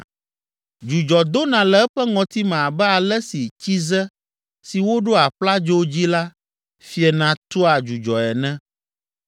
Dzudzɔ dona le eƒe ŋɔtime abe ale si tsize si woɖo aƒladzo dzi la fiena tua dzudzɔe ene.